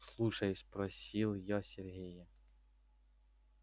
слушай спросил я сергея